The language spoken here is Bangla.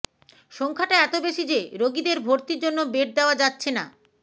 সংখ্যাটা এত বেশি যে রোগীদের ভর্তির জন্য বেড দেওয়া যাচ্ছে না